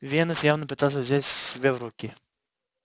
венус явно пытался взять себя в руки